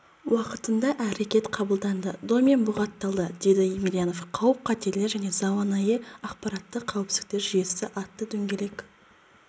уақытында әрекет қабылданды домен бұғатталды деді емелянов қауіп-қатерлер және заманауи ақпараттық қауіпсіздік жүйесі атты дөңгелек